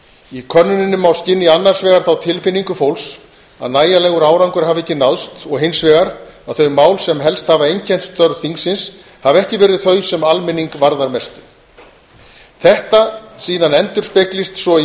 í henni má skynja annars vegar þá tilfinningu fólks að nægjanlegur árangur hafi ekki náðst og hins vegar að þau mál sem helst hafa einkennt störf þingsins hafi ekki verið þau sem almenning varðar mestu þetta endurspeglist síðan í